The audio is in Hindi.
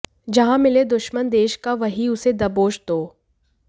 जहां मिले दुश्मन देश का वहीं उसे दबोच दो